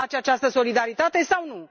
Vă place această solidaritate sau nu?